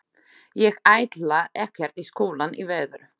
Ég ætla ekkert í skólann í vetur.